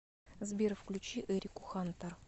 сбер включи эрику хантер